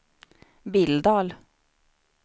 Billdal